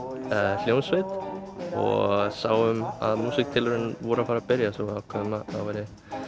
bílskúrshljómsveit og sáum að músíktilraunir væru að fara að byrja svo við ákváðum að það væri